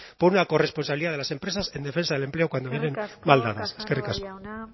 por una corresponsabilidad de las empresas en defensa del empleo cuando vengan mal dadas eskerrik asko casanova jauna